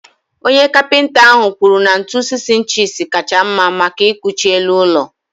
Onye Kapịnta ahụ kwuru na ntu 6 ịnchis kacha mma maka ịkwụchi elu ụlọ.